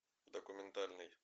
документальный